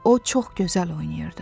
O çox gözəl oynayırdı.